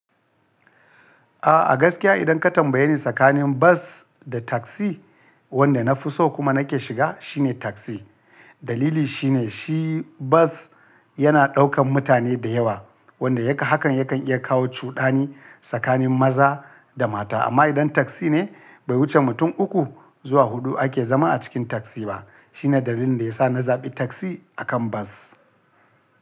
A gaskiya idan ka tambaye ni tsakanin bas da taksi, wanda na fi so kuma na ke shiga shine taksi. Dalili shine shi bas yana ɗaukan mutane da yawa wanda haka yakan iya kawo cuɗani tsakanin maza da mata. Amma idan taksi ne bai wuce mutum uku zuwa huɗu ake zama a cikin taksi ba. Shine dalilin da ya sa na zaɓi taksi a kan bas.